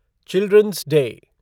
children's day